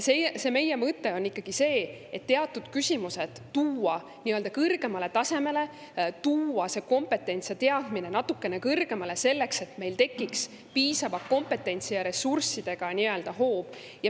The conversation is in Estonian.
Meie mõte on ikkagi see, et teatud küsimused tuua nii-öelda kõrgemale tasemele, tuua see kompetents ja teadmine natukene kõrgemale, et meil tekiks piisava kompetentsi ja ressurssidega nii-öelda hoob.